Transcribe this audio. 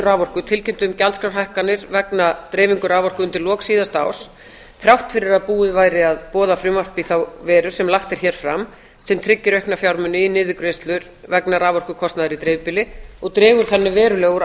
raforku tilkynntu um gjaldskrárhækkanir vegna dreifingu raforku undir lok síðasta árs þrátt fyrir að búið væri að boða frumvarp í þá veru sem lagt er hér fram sem tryggir aukna fjármuni í niðurgreiðslur vegna raforkukostnaðar í dreifbýli og dregur þannig verulega úr